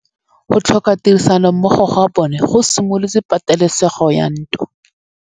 Go tlhoka tirsanommogo ga bone go simolotse patêlêsêgô ya ntwa.